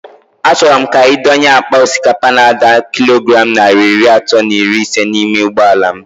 A chọrọ m ka ị dọnye àkpà osikapa n'ada kilogram narị iri atọ na iri isé n'ime ụgbọala m